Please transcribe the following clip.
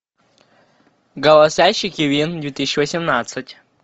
голосящий кивин две тысячи восемнадцать